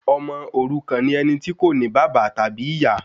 Ọmọ òrukan ni ẹni tí kò ní bàbá tàbí ìyá